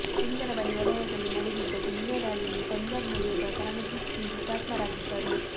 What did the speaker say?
ಸುಂದರಬನಿ ವಲಯದಲ್ಲಿ ನಡೆದಿದ್ದ ಗುಂಡಿನ ದಾಳಿಯಲ್ಲಿ ಪಂಜಾಬ್ನ ಯೋಧ ಕರಮಜೀತ್ ಸಿಂಗ್ ಹುತಾತ್ಮರಾಗಿದ್ದರು